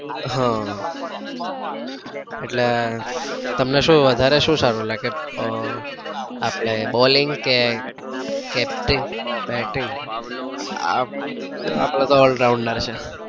આહ એટલે તમને શું વધારે શું સારું લાગે? ઉહ આપડે balling કે capting bating? અપડે અપડે તો all rounder છીએ.